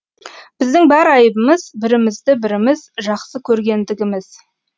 біздің бар айыбымыз бірімізді біріміз жақсы көргендігіміз